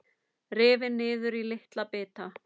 Rifin niður í litla bita.